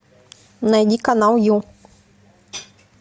найди канал ю